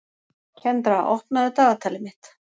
Kendra, opnaðu dagatalið mitt.